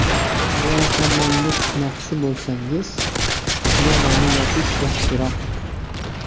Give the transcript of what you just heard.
Agar hammomga tushmoqchi bo‘lsangiz, yarani yopish yaxshiroq.